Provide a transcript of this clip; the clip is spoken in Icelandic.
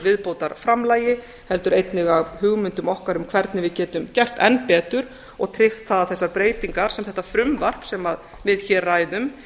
viðbótarframlagi heldur einnig af hugmyndum okkar um hvernig við getum gert enn betur og tryggt það að þessar breytingar sem þetta frumvarp sem við hér ræðum